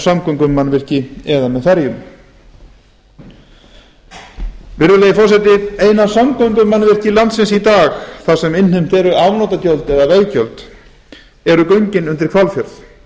samgöngumannvirki eða með ferjum virðulegi forseti eina samgöngumannvirki landsins í dag þar sem innheimtu eru afnotagjöld eða veggjöld eru göngin undir hvalfjörð